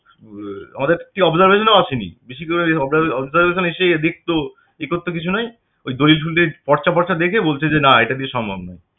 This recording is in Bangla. আমাদের observation এও আসেনি অবজা~ observation এসছে এদের তো কিছু নেই ওই দলিল -টলিল পড়ছা-ফরছা দেখে বলছে যে না এটা তে সম্ভব না